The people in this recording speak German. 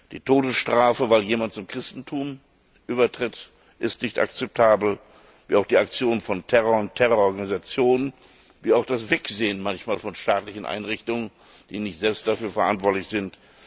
Die Todesstrafe, weil jemand zum Christentum übertritt, ist nicht akzeptabel, wie auch die Aktionen von Terror und Terrororganisationen, wie auch manchmal das Wegsehen von staatlichen Einrichtungen, die nicht selbst dafür verantwortlich sind.